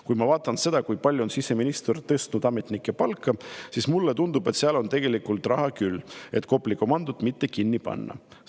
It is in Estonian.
Kui ma vaatan seda, kui palju on siseminister tõstnud ametnike palka, siis seal on tegelikult küll raha, et Kopli komandot mitte kinni panna.